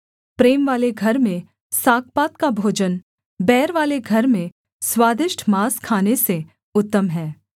प्रेमवाले घर में सागपात का भोजन बैरवाले घर में स्वादिष्ट माँस खाने से उत्तम है